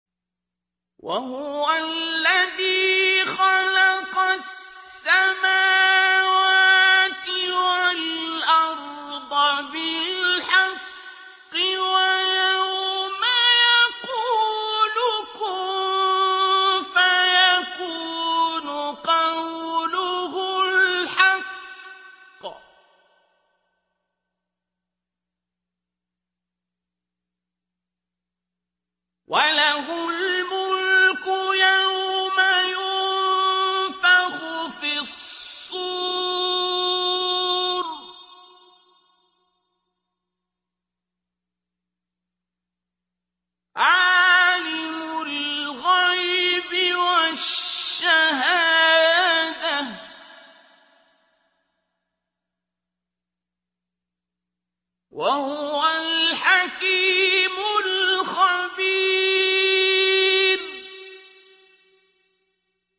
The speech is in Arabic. وَهُوَ الَّذِي خَلَقَ السَّمَاوَاتِ وَالْأَرْضَ بِالْحَقِّ ۖ وَيَوْمَ يَقُولُ كُن فَيَكُونُ ۚ قَوْلُهُ الْحَقُّ ۚ وَلَهُ الْمُلْكُ يَوْمَ يُنفَخُ فِي الصُّورِ ۚ عَالِمُ الْغَيْبِ وَالشَّهَادَةِ ۚ وَهُوَ الْحَكِيمُ الْخَبِيرُ